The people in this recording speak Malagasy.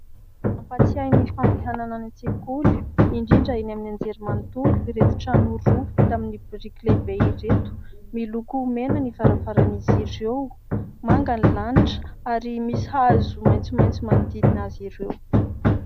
Mampatsiahy ny fandehanana any an-tsekoly indrindra eny amin'ny anjerimanontolo ireto trano roa vita amin'ny biriky lehibe ireto. Miloko mena ny varavaran'izy ireo, manga ny lanitra ary misy hazo maitsomaitso manodidina azy ireo.